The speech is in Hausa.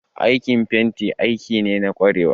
Aikin fenti aiki ne na kwarewa